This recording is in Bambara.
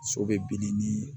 So bɛ bili ni